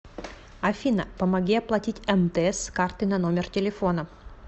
афина помоги оплатить мтс с карты на номер телефона